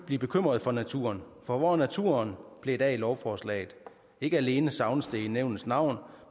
blive bekymret for naturen for hvor er naturen blevet af i lovforslaget ikke alene savnes det i nævnets navn